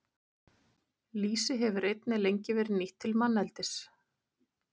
Lýsi hefur einnig lengi verið nýtt til manneldis.